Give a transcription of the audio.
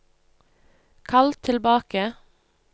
kall tilbake